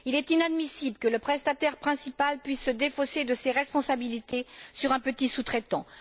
Il est inadmissible que le prestataire principal puisse se défausser de ses responsabilités sur un petit sous traitant.